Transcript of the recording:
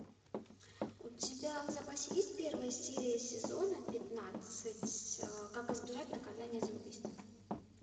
у тебя в запасе есть первая серия сезона пятнадцать как избежать наказания за убийство